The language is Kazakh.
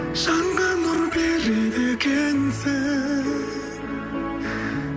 жанға нұр береді екенсің